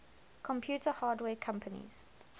computer hardware companies